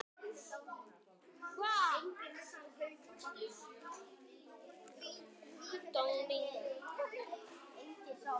Það mátti treysta henni.